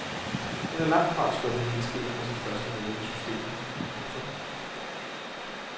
Hun er langtfra sluppet helskindet fra sit første møde med systemet. punktum